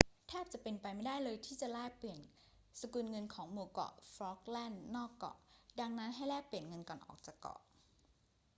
แทบจะเป็นไปไม่ได้เลยที่จะแลกเปลี่ยนสกุลเงินของหมู่เกาะฟอล์กแลนด์นอกเกาะ ดังนั้นให้แลกเปลี่ยนเงินก่อนออกจากเกาะ